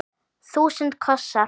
Þúsund kossar.